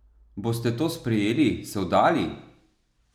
Boste to sprejeli, se vdali?